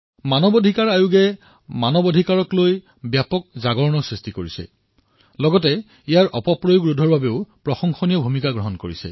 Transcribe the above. এনএইচআৰচিয়ে মানৱ অধিকাৰৰ পৰা আৰম্ভ কৰি ব্যাপক সজাগতাৰ সৃষ্টি কৰিছে লগতে ইয়াৰ অপব্যৱহাৰ হোৱাও ৰোধ কৰিছে